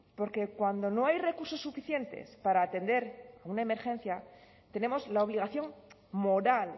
porque cuando no hay recursos suficientes para atender una emergencia tenemos la obligación moral